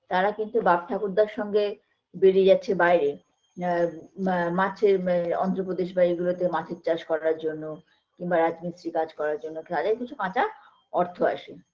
তারা কিন্তু বাপ ঠাকুরদার সঙ্গে বেড়িয়ে যাচ্ছে বাইরে আ মা মাছের মা অন্ধপ্রদেশ বা এইগুলোতে মাছের চাষ করার জন্য কিংবা রাজমিস্ত্রীর কাজ করার জন্য যাতেকিছু কাচা অর্থ আসে